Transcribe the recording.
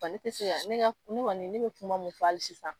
Wa te sen yan, ne ka ne kɔni ne bɛ kuma mun fɔ hali sisan.